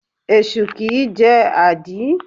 Esu kìí jẹ́ àdí.